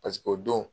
Paseke o don